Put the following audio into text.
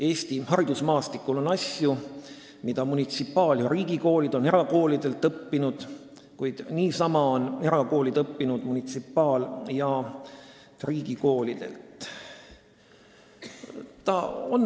Eesti haridusmaastikul on asju, mida munitsipaal- ja riigikoolid on erakoolidelt õppinud, kuid samuti on erakoolid õppinud munitsipaal- ja riigikoolidelt.